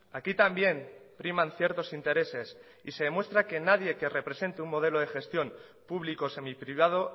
aquí también priman ciertos intereses y se demuestra que nadie que represente un modelo de gestión público semiprivado